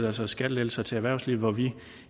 altså skattelettelser til erhvervslivet hvor vi